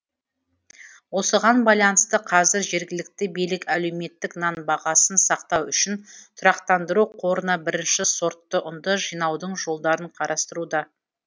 осыған байланысты қазір жергілікті билік әлеуметтік нан бағасын сақтау үшін тұрақтандыру қорына бірінші сортты ұнды жинаудың жолдарын қарастыруда